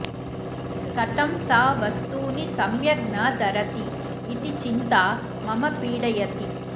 कथं सा वस्तूनि सम्यग् न धरति इति चिन्ता मम पीडयति